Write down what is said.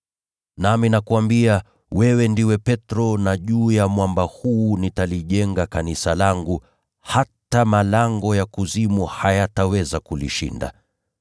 Nami nakuambia, wewe ndiwe Petro na juu ya mwamba huu nitalijenga kanisa langu, hata malango ya Kuzimu hayataweza kulishinda.